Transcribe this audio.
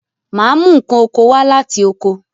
Màá mú n̄ ǹkan oko wa láti Oko